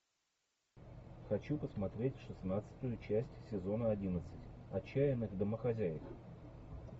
хочу посмотреть шестнадцатую часть сезона одиннадцать отчаянных домохозяек